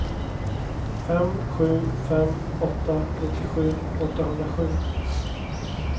fem sju fem åtta nittiosju åttahundrasju